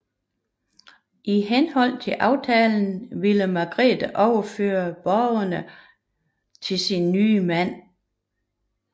I henhold til aftalen ville Margrete overføre borgene i Vexin til sin nye mand